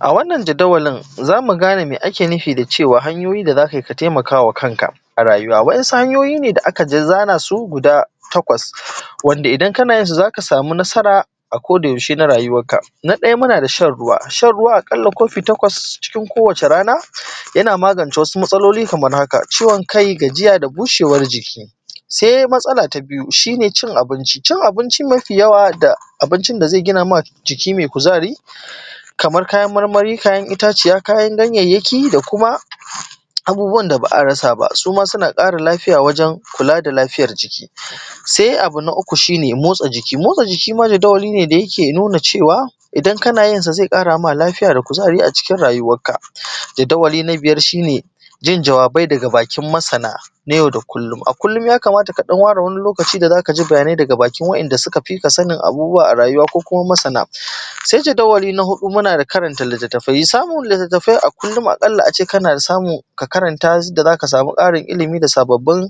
a wannan jadawalin za mu gane me ake nufi da cewa hanyoyin da za ka taimaka wa kanka waɗansu hanyoyi ne da aka dai zana su guda takwas wanda idan kana yinsu za ka samu nasara a koda yaushe na rayuwarka na ɗaya muna da shan ruwa shan ruwa a ƙalla kofi takwas cikin kowace rana yana: magance wasu matsaloli kamar haka ciwon kai gajiya da bushewar jiki sai matsala ta biyu shi ne cin abinci xxx cin abinci mafi yawa da abincin da zai gina ma jiki mai kuzari kamar kayan marmari kayan itaciya kayan ganyayyaki da kuma abubuwan da ba a rasa ba xxx su ma suna ƙara lafiya wajen kula da lafiyar jiki xxx sai abu na uku shi ne motsa jiki motsa jiki ma jadawali ne da ke cewa idan kana yinsa idan kana yinsa zai ƙara ma lafiya da kuzari a cikin rayuwarka jadawali na biyar shi ne jin jawabai daga bakin masana na yau da kullum xxx a kullum ya kamata ka ɗan ware wani lokaci da za ka ji bayanai daga bakin waɗanda suka fi ka sanin abubuwa a rayuwa ko kuma masana sai jadawali na huɗu muna da karanta littattafai ya samu littattafai a kullum a ƙalla a ce kana samu ka karanta su da za ka samu ƙarin ilimi da sababbin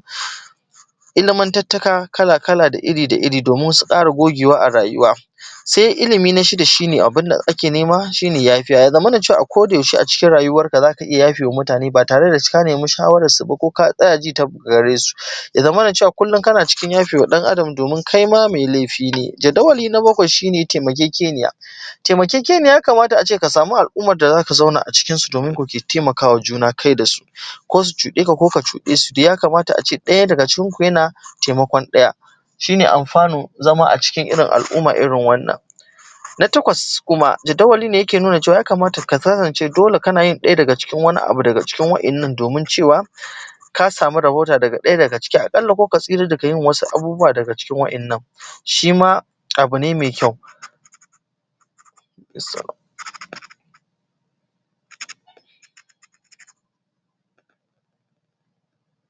ilimuntattaka kala da kala da iri da iri domin wasu ƙara gogewa a rayuwa sai ilimi na shida shi ne abin da ake nema shi ne yafiya ya zamana cewa a ko da yaushe a cikin rayuwarka za ka iya yafe wa mutane ba tare da ka nemi shawararsu ba ko ka tsaya ji ta daga gare su ya zamana cewa kullum kana cikin yafe wa ɗan adam domin kai ma mai laifi ne jadawali na bakwai shi ne taimakekeniya taimakekeniya ya kamata a ce ka samu al’ummar da za ka zauna a cikinsu domin kuke taimaka wa juna kai da su ko su cuɗe ka ko ka cuɗe su dai ya kamata a ce ɗaya daga cikinku yana taimakon ɗaya shi ne alfanun zama a cikin irin al’umma irin wannan takwas kuma jadawali ne yake nuna cewa ya kamata ka kasance dole ka kasance kana yin ɗaya daga cikin wani abu daga waɗannan domin cewa ka samu rabauta da ɗaya daga ciki a ƙalla ko ka tsira daga yin wasu abubuwa daga cikin waɗannan shi ma abu ne mai kyau